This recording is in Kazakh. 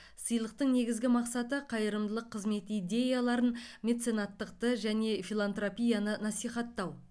сыйлықтың негізгі мақсаты қайырымдылық қызмет идеяларын меценаттықты және филантропияны насихаттау